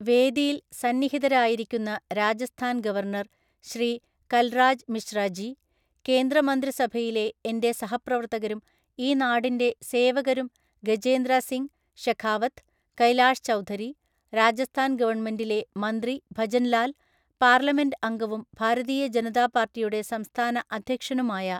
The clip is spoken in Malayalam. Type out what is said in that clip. വേദിയില്‍ സന്നിഹിതരായിരിക്കുന്ന രാജസ്ഥാന്‍ ഗവർണർ ശ്രീ കൽറാജ് മിശ്ര ജി, കേന്ദ്രമന്ത്രി സഭയിലെ എൻ്റെ സഹപ്രവർത്തകരും ഈ നാടിൻ്റെ സേവകരും ഗജേന്ദ്ര സിംഗ് ഷെഖാവത്ത്, കൈലാഷ് ചൗധരി, രാജസ്ഥാൻ ഗവണ്മെന്റിലെ മന്ത്രി ഭജന്‍ ലാല്‍, പാർലമെന്റ് അംഗവും ഭാരതീയ ജനതാ പാർട്ടിയുടെ സംസ്ഥാന അധ്യക്ഷനുമായ